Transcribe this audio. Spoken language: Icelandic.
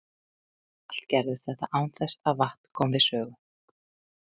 Allt gerðist þetta án þess að vatn kom við sögu.